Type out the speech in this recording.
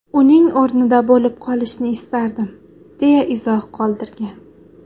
Uning o‘rnida bo‘lib qolishni istardim” , deya izoh qoldirgan.